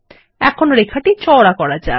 এখন রেখাটি চওড়া করা যাক